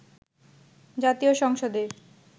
জাতীয় সংসদে